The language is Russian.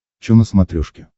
чо на смотрешке